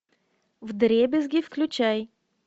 вдребезги включай